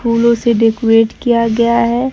फूलों से डेकोरेट किया गया है।